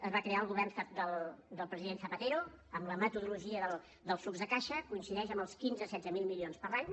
es va crear al govern del president zapatero amb la metodologia del flux de caixa coincideix amb els quinze mil setze mil milions per any